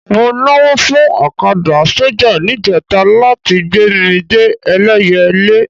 Mo nawọ́ fún ọ̀kadà sọ́jà níjẹta láti gbé mi dé Ẹlẹ́yẹlé